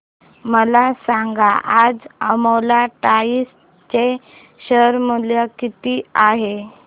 मला सांगा आज अपोलो टायर्स चे शेअर मूल्य किती आहे